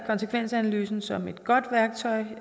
konsekvensanalysen som et godt værktøj